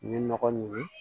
N ye nɔgɔ ɲini